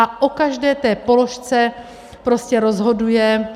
A o každé té položce prostě rozhoduje...